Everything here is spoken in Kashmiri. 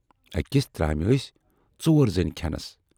ٲکِس ترامہِ ٲسۍ ژور زٔنۍ کھٮ۪نَس۔